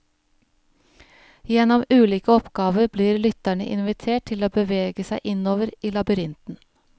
Gjennom ulike oppgaver blir lytterne invitert til å bevege seg innover i labyrinten.